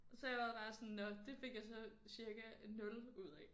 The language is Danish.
Så jeg var bare sådan nåh det fik jeg så cirka 0 ud af